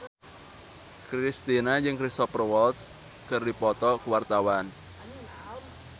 Kristina jeung Cristhoper Waltz keur dipoto ku wartawan